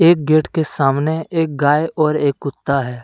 एक गेट के सामने एक गाय और एक कुत्ता है।